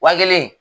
Wa kelen